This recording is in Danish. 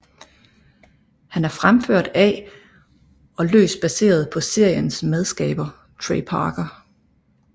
Han er fremført af og løst baseret på seriens medskaber Trey Parker